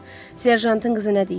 Serjantın qızı nə deyir?